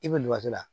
I bɛ liwato la